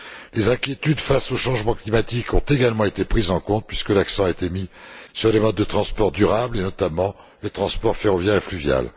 Les inquiétudes face au changement climatique ont également été prises en compte, puisque l'accent a été mis sur les modes de transport durables, et notamment les transports ferroviaire et fluvial.